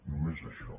només això